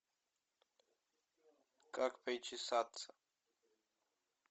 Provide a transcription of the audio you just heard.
как причесаться